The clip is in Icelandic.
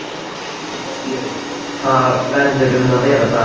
Jói, hvað verður um að vera þar?